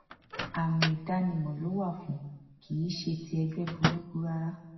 àmì ìdánimọ ló wà fún kì í ṣe ti ẹgbẹ burúkú rárá